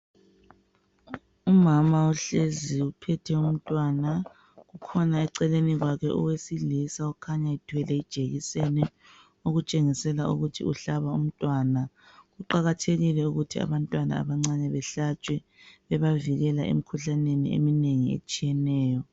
Umama uhlezi uphethe umntwana kukhona eceleni kwakhe owesilisa okhanya ethwele ijekiseni okutshengisela ukuthi uhlaba umntwana kuqakathekile ukuthi abantwana abancane behlatshwe bebavikela emikhuhlaneni eminengi etshiyeneyo.